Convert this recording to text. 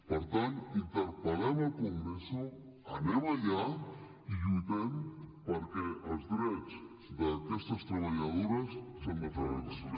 per tant interpel·lem al congreso anem allà i lluitem perquè els drets d’aquestes treballadores s’han de fer valer